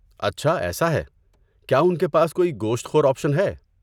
اچھا ایسا ہے، کیا ان کے پاس کوئی گوشت خور آپشن ہے؟